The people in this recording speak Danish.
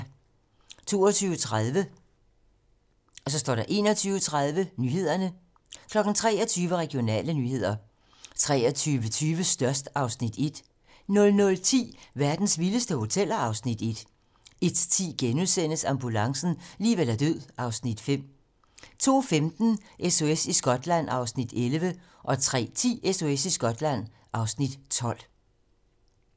22:30: 21:30 Nyhederne 23:00: Regionale nyheder 23:20: Størst (Afs. 1) 00:10: Verdens vildeste hoteller (Afs. 1) 01:10: Ambulancen - liv eller død (Afs. 5)* 02:15: SOS i Skotland (Afs. 11) 03:10: SOS i Skotland (Afs. 12)